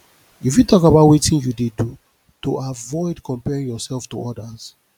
you fit talk about wetin you do to avoid comparing yourself to odas